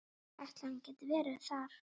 Ætli hann geti verið þar?